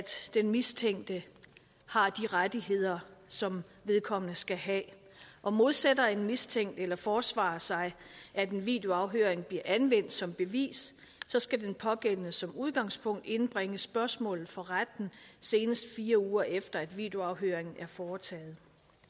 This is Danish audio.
den mistænkte har de rettigheder som vedkommende skal have og modsætter en mistænkt eller forsvarer sig at en videoafhøring bliver anvendt som bevis så skal den pågældende som udgangspunkt indbringe spørgsmålet for retten senest fire uger efter at videoafhøringen er foretaget